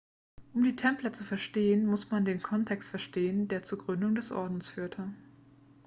um die templer zu verstehen muss man den kontext verstehen der zur gründung des ordens führte